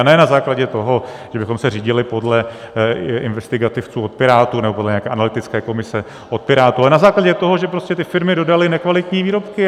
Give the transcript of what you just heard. A ne na základě toho, že bychom se řídili podle investigativců od Pirátů nebo podle nějaké analytické komise od Pirátů, ale na základě toho, že prostě ty firmy dodaly nekvalitní výrobky.